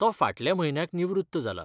तो फाटल्या म्हयन्याक निवृत्त जालां.